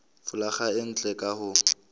folaga e ntle ka ho